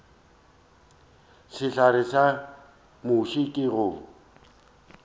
sehlare sa muši ke go